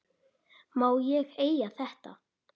Má ég eiga þetta?